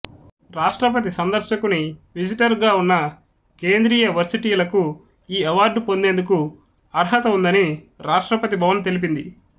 రాష్ట్రపతి సందర్శకుని విజిటర్గా ఉన్న కేంద్రీయ వర్సిటీలకు ఈ అవార్డు పొందేందుకు అర్హత ఉందని రాష్ట్రపతి భవన్ తెలిపింది